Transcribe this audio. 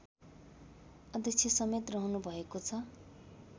अध्यक्षसमेत रहनुभएको छ